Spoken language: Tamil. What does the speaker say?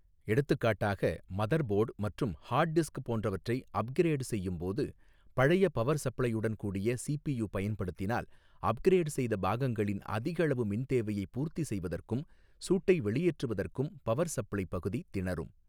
எடுத்துக்காட்டாக மதர்போர்ட் மற்றும் ஹார்ட் டிஸ்க் போன்றவற்றை அப்கிரேட் செய்யும் போது பழைய பவர் சப்ளையுடன் கூடிய சி பி யூ பயன்படுத்தினால் அப்கிரேட் செய்த பாகங்களின் அதிகளவு மின் தேவையை பூர்த்தி செய்வதற்கும் சூட்டை வெளியேற்றுவதற்கும் பவர் சப்ளை பகுதி திணறும்.